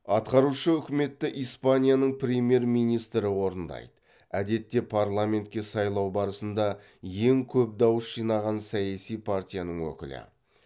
атқарушы үкіметті испанияның премьер министрі орындайды әдетте парламентке сайлау барысында ең көп дауыс жинаған саяси партияның өкілі